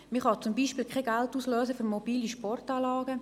Man kann zum Beispiel kein Geld auslösen für mobile Sportanlagen.